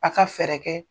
A ka fɛɛrɛ kɛ